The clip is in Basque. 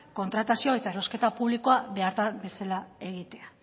kontratazio eta erosketa publikoa behar bezala egitea